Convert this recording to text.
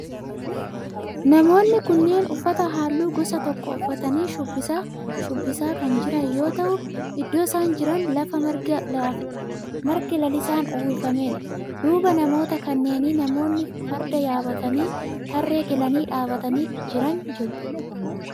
Namoonni kunneen uffata halluu gosa tokko uffatanii shubbisa shubbisaa kan jiran yoo ta'u iddoo isaan jiran lafa marga lalisaan uwwifamedha. duuba namoota kanneenii namoonni farda yaabbatanii tarree galanii dhaabbatanii jiran jiru.